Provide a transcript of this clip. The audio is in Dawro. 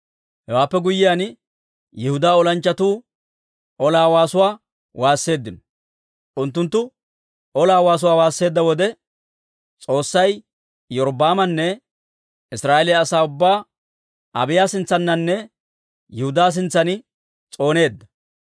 Hewaappe guyyiyaan, Yihudaa olanchchatuu ola waasuwaa waasseeddino. Unttunttu ola waasuwaa waasseedda wode, S'oossay Iyorbbaamanne Israa'eeliyaa asaa ubbaa Abiiya sintsaaninne Yihudaa sintsan s'ooneedda.